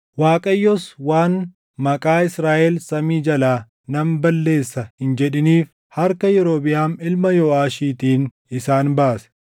Waaqayyos waan maqaa Israaʼel samii jalaa nan balleessa hin jedhiniif harka Yerobiʼaam ilma Yooʼaashiitiin isaan baase.